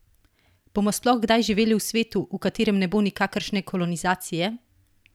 Bomo sploh kdaj živeli v svetu, v katerem ne bo nikakršne kolonizacije?